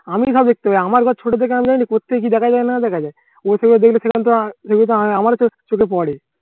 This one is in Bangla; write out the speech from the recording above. আমি সব দেখতে পাই আমি ঘর ছোট থেকে আমি জানি কোথ থেকে কি দেখা যায় না দেখা যায়। ঐ দেখলে সেসব তো আমারও চোখে পড়ে।